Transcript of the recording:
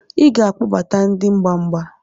Ị ga-akpọbata ndị mgba mgba